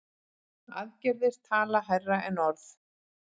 Aðgerðir tala hærra en orð.